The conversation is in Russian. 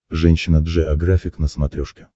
женщина джеографик на смотрешке